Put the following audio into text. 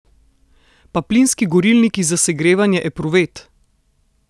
Pa plinski gorilniki za segrevanje epruvet!